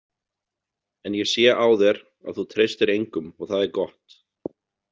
En ég sé á þér að þú treystir engum og það er gott.